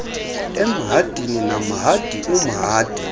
emhadini namhadi umhadi